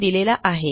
यांनी दिलेला आहे